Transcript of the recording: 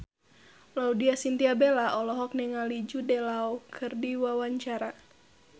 Laudya Chintya Bella olohok ningali Jude Law keur diwawancara